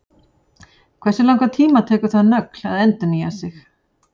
Hversu langan tíma tekur það nögl að endurnýja sig?